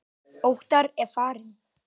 Óttar er farinn.